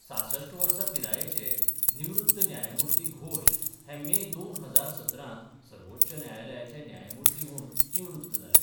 सासष्ट वर्सा पिरायेचे निवृत्त न्यायमुर्ती घोष हे मे दोन हजार सतरांत सर्वोच्च न्यायालयाचे न्यायामुर्ती म्हुण निवृत्त जाले.